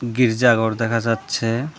গির্জা ঘর দেখা যাচ্ছে।